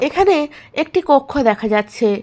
এখানে একটি কক্ষ দেখা যাচ্ছে।